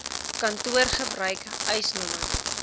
kantoor gebruik eisnr